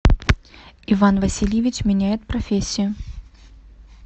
иван васильевич меняет профессию